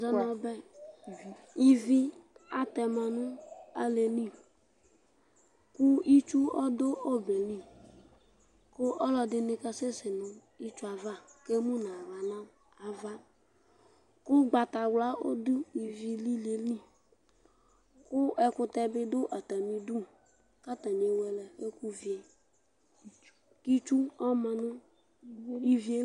ɔbɛ, ivi atɛma nu alo yɛ li ku itsu ɔdu ɔbɛ yɛ li, ku ɔlɔdi nu kasɛsɛ nu itsʋe ava, ku emu nu aɣla nu ava, ku ugbata wla du ivi lilie li, ku ɛkutɛ bi du ata mi udu , ku ata ni ewele ɛku vie , ku itsu ɔma nu ivie li